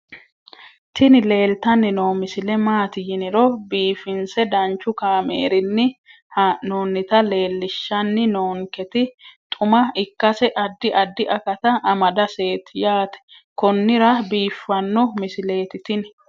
tini leeltanni noo misile maaati yiniro biifinse danchu kaamerinni haa'noonnita leellishshanni nonketi xuma ikkase addi addi akata amadaseeti yaate konnira biiffanno misileeti tini